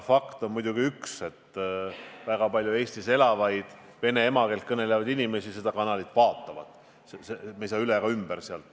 Fakt on muidugi see, et väga palju Eestis elavaid vene emakeelt kõnelevaid inimesi seda kanalit vaatavad, me ei saa sellest üle ega ümber.